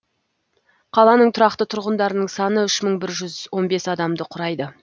қаланың тұрақты тұрғындарының саны үш мың бір жүз он бес адамды құрайды